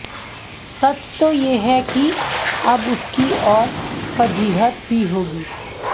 सच तो यह है कि अब उसकी और फजीहत भी होगी